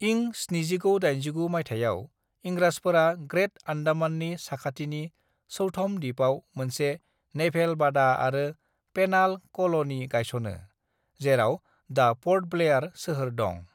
"इं 1789 माइथायाव, इंराजफोरा ग्रेट आन्डामाननि साखाथिनि चैथम दिपआव मोनसे नेभेल बादा आरो पेनाल कल'नि गायस'नो, जेराव दा प'र्ट ब्लेयार सोहोर दं।"